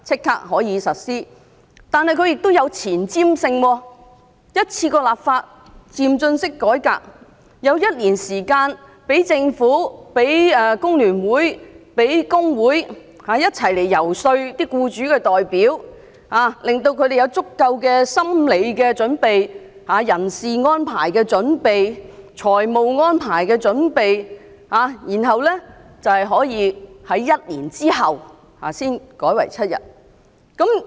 但是，它亦具有前瞻性，一次過立法，漸進式改革，有一年時間讓政府、讓工聯會、讓工會一起遊說僱主代表，令他們有足夠心理準備，人事安排的準備、財務安排的準備，然後一年後才改為7天。